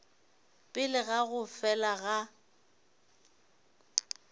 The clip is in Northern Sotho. pele ga go fela ga